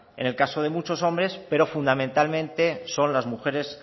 en el caso de muchos hombres pero fundamentalmente son las mujeres